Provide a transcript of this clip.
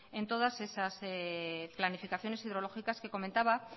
en todas esas planificaciones hidrológicas que comentaba